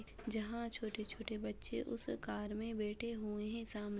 जहाँ छोटे-छोटे बच्चे उस कार में बैठे हूएं हैं। साम --